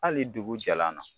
Hali dugu jalan na.